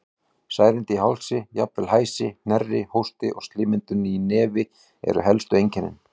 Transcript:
Særindi í hálsi, jafnvel hæsi, hnerri, hósti og slímmyndun í nefi eru elstu einkennin.